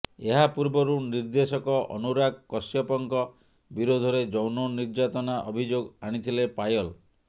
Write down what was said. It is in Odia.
ଏହାପୂର୍ବରୁ ନିର୍ଦ୍ଦେଶକ ଅନୁରାଗ କଶ୍ୟପଙ୍କ ବିରୋଧରେ ଯୌନ ନିର୍ଯାତନା ଅଭିଯୋଗ ଆଣିଥିଲେ ପାୟଲ